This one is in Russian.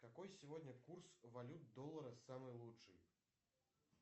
какой сегодня курс валют доллара самый лучший